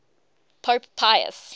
pope pius